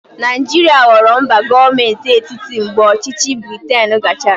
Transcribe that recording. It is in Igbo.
Naijiria ghọrọ mba gọọmenti etiti mgbe ọchịchị Briten gachara.